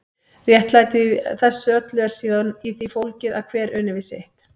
Réttlætið í þessu öllu er síðan í því fólgið að hver uni við sitt.